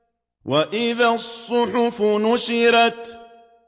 وَإِذَا الصُّحُفُ نُشِرَتْ